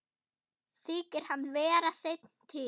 Þykir hann vera seinn til.